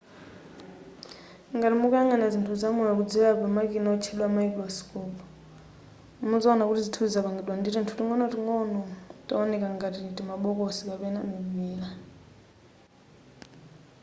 ngati mukuyang'ana zinthu zamoyo kudzera pamakina otchedwa mayikurosikopu muzaona kuti zinthuzi zapangidwa ndi tinthu ting'onoting'ono towoneka ngati timabokosi kapena mipira